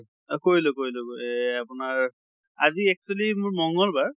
কৰিলোঁ কৰিলোঁ এহ আপোনাৰ আজি actually মোৰ মঙ্গল বাৰ